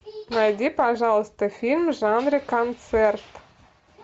найди пожалуйста фильм в жанре концерт